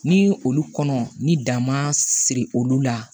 Ni olu kɔnɔ ni dan ma siri olu la